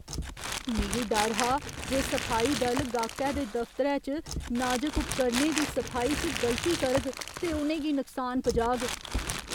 मिगी डर हा जे सफाई दल गाह्‌कै दे दफ्तरै च नाजक उपकरणें दी सफाई च गलती करग ते उ'नें गी नुकसान पजाग।